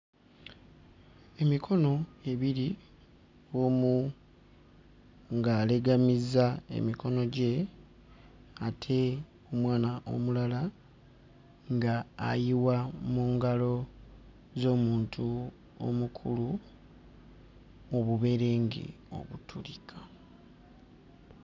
Emikono ebiri omu ng'alegamizza emikono gye ate mwana omulala nga ayiwa mu ngalo z'omuntu omukulu obuberenge obutulika.